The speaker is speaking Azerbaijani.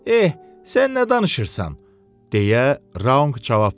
"Eh, sən nə danışırsan?" deyə Raunq cavab verdi.